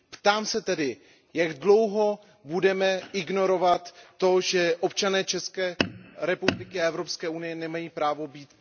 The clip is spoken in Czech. Ptám se tedy, jak dlouho budeme ignorovat to, že občané České republiky a Evropské unie nemají právo být...